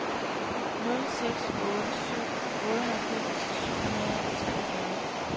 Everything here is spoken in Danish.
nul seks otte syv otteoghalvfems syv hundrede og treogfyrre